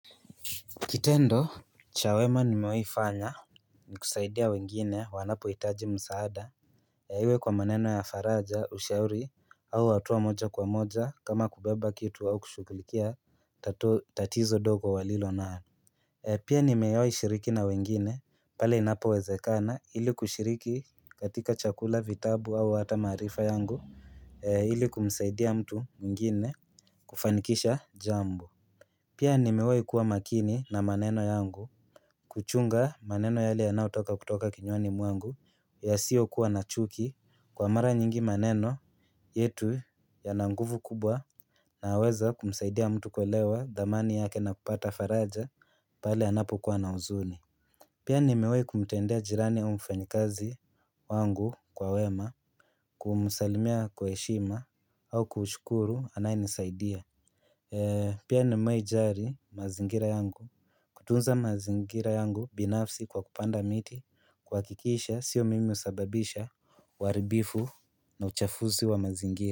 Kitendo cha wema nimewaifanya ni kusaidia wengine wanapohitaji msaada Iwe kwa maneno ya faraja ushauri au hatua moja kwa moja kama kubeba kitu au kushughulikia tatizo ndogo walilonao Pia ni mewaishiriki na wengine pale inapo wezekana ili kushiriki katika chakula vitabu au hata maarifa yangu ili kumsaidia mtu mwingine kufanikisha jambo Pia nimewaikuwa makini na maneno yangu kuchunga maneno yale yanayo toka kutoka kinywani mwangu yasiyo kuwa na chuki kwa mara nyingi maneno yetu yana nguvu kubwa naweza kumsaidia mtu kuelewa dhamani yake na kupata faraja pale anapokuwa na huzuni. Pia nimewahi kumtendea jirani au mfanyikazi wangu kwa wema kumusalimia kwa heshima au kushukuru anayenisaidia. Pia nimewahi jali mazingira yangu kutunza mazingira yangu binafsi kwa kupanda miti kuhakikisha sio mimi husababisha uharibifu na uchafuzi wa mazingira.